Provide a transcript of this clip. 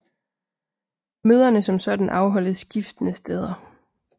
Møderne som sådan afholdes skiftende steder